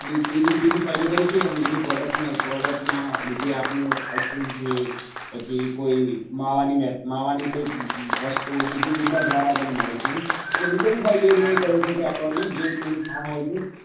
દૂધ દૂધ રીતે બી ફાયદો અને જેની product produc ના લીધે આપડે ice cream છે પછી કોઈ માવાની માવાની કોઈ વસ્તુઓ છે જ દૂધ ના દ્વારા બી મળે છે અને બીજો ભી ફાયદો એ ખરો કે આપડે